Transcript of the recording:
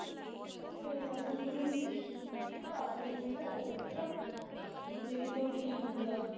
ਇਹ ਤੇ ਚਲ ਹੁਣ ਥੋੜੀ ਜਹੀ ਘਰਵਾਲੇ ਨੇ ਇਨ੍ਹਾਂ ਓਹੋ ਕਰਤਾ ਜੇ ਕਿੱਥੇ ਉਹ ਠੀਕ ਹੁੰਦਾ